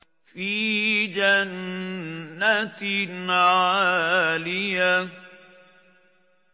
فِي جَنَّةٍ عَالِيَةٍ